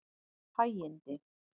Hægindi